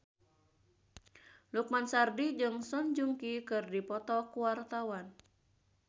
Lukman Sardi jeung Song Joong Ki keur dipoto ku wartawan